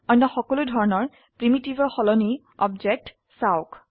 অন্য সকলো ধৰনৰ প্ৰিমিটিভৰ সলনি অবজেক্টত চাওক